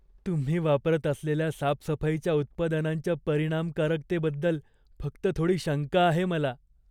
तुम्ही वापरत असलेल्या साफसफाईच्या उत्पादनांच्या परिणामकारकतेबद्दल फक्त थोडी शंका आहे मला.